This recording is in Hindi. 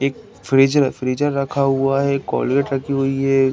एक फ्रिज फ्रीज़र रखा हुआ है। कोलगेट रखी हुई है।